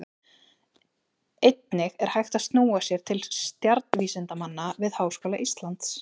Einnig er hægt að snúa sér til stjarnvísindamanna við Háskóla Íslands.